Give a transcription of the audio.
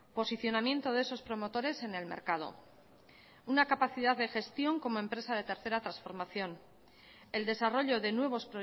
posicionamiento de esos promotores en el mercado una capacidad de gestión como empresa de tercera transformación el desarrollo de nuevos